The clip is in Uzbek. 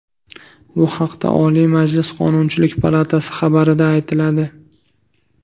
Bu haqda Oliy Majlis Qonunchilik palatasi xabari da aytiladi.